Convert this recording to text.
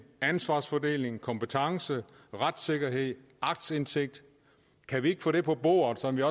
ansvarsfordeling kompetencer retssikkerhed og aktindsigt kan vi ikke få det på bordet sådan at